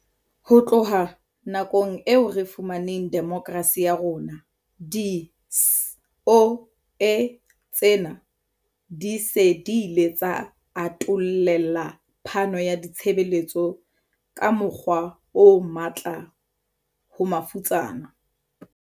Ho tloha nakong eo re fumaneng demokrasi ka yona, di-SOE tsena di se di ile tsa atollela phano ya ditshebeletso ka mokgwa o matla ho mafutsana.